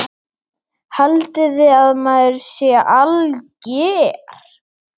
Haldiði að maður sé alger!